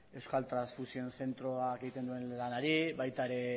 euskal transfusio zentroak egiten duen lanari baita ere